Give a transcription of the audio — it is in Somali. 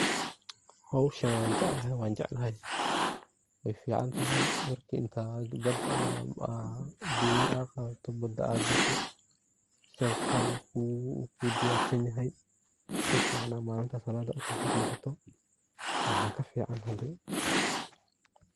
Hoshan wan jeclahay jeclahay way ficantahy marka intad bada aa doni ad qadato bada aa gashe shabaqa na uu ku diyarsan yahay si fican ad malinta saladi uso shaqesato maxa kafican hadi.